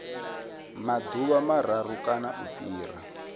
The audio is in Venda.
maḓuvha mararu kana u fhira